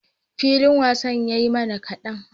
Filin wasa ya mana kadan